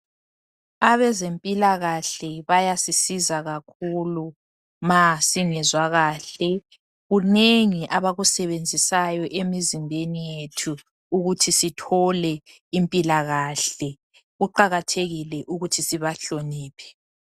Abezempilakahle bayasisiza kakhulu ma singezwa kahle, kunengi abakusebenzisayo emizimbeni yethu ukuthi sithole impilakahle, kuqakathekile ukuthi sibahloniphe.